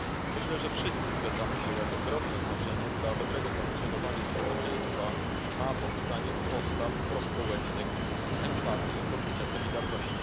Myślę, że wszyscy zgadzamy się, jak ogromne znaczenie dla dobrego funkcjonowania społeczeństwa ma pobudzanie postaw prospołecznych, empatii i poczucia solidarności.